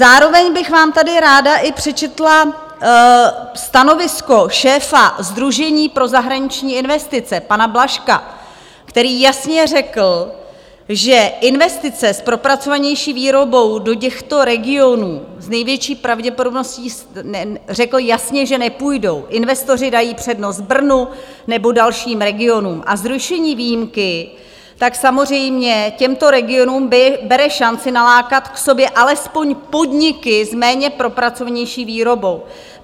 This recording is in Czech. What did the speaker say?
Zároveň bych vám tady ráda i přečetla stanovisko šéfa Sdružení pro zahraniční investice, pana Blažka, který jasně řekl, že investice s propracovanější výrobou do těchto regionů s největší pravděpodobností, řekl jasně, že nepůjdou, investoři dají přednost Brnu nebo dalším regionům, a zrušení výjimky tak samozřejmě těmto regionům bere šanci nalákat k sobě alespoň podniky s méně propracovanější výrobou.